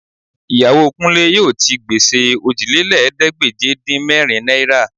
Ìyàwó Kúnlé yóò ti gbèsè Òjìlélẹ́ẹ̀ẹ́dégbèje-dín-mẹ́rin náírà